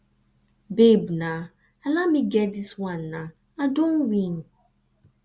babe naa allow me get dis wan naa i don win